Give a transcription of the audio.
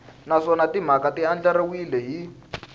naswona timhaka ti andlariwile hi